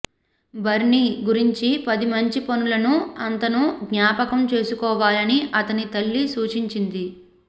బర్నీ గురించి పది మంచి పనులను అతను జ్ఞాపకం చేసుకోవాలని అతని తల్లి సూచించింది